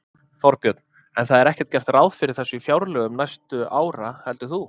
Þorbjörn: En það er ekkert gert ráð fyrir þessu í fjárlögum næstu ára heldur þú?